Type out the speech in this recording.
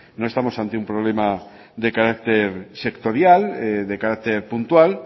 no estamos ante un problema de carácter sectorial de carácter puntual